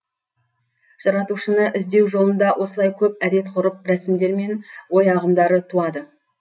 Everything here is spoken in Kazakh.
жаратушыны іздеу жолында осылай көп әдет ғұрып рәсімдер мен ой ағымдары туады